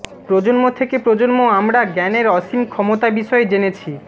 প্রজন্ম থেকে প্রজন্ম আমরা জ্ঞানের অসীম ক্ষমতা বিষয়ে জেনেছি